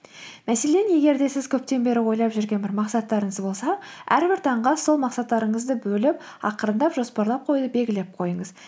мәселен егер де сіз көптен бері ойлап жүрген бір мақсаттарыңыз болса әрбір таңға сол мақсаттарыңызды бөліп ақырындап жоспарлап қоюды белгілеп қойыңыз